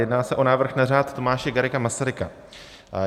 Jedná se o návrh na Řád Tomáše Garrigua Masaryka.